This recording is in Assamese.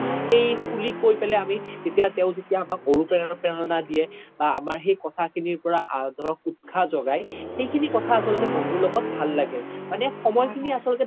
সেই খুলি কই পেলে আমি তেও যেতিয়া আমাক অনোপ্ৰেৰনা দিয়ে বা আমাৰ সেই কথা খিনিৰ পৰা ধৰক উতখাহ জগাই সেইখিনি কথা আচলতে বন্ধুৰ লগত ভাল লাগে মানে সময় খিনি আচলতে